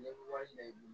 Ne bɛ wari minɛ i bolo